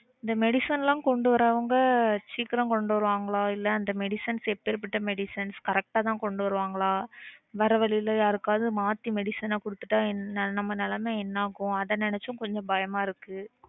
இந்த medicine லாம் கொண்டு வரவங்க சீக்கிரம் கொண்டு வருவாங்களா? இல்ல அந்த medicines எப்பேர்ப்பட்ட medicines correct ஆ தான் கொண்டு வருவாங்களா? வரவழில யாருக்காவது மாத்தி medicine அ கொடுத்துட்டா நம்ம நிலைமை என்ன ஆகும்? அத நினைச்சும் கொஞ்சம் பயமா இருக்கு